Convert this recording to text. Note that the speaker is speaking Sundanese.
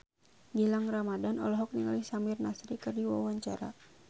Gilang Ramadan olohok ningali Samir Nasri keur diwawancara